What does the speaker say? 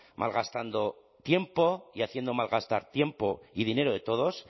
malgastando tiempo y haciendo mal gastar tiempo y dinero de todos